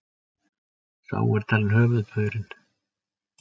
Sá er talinn höfuðpaurinn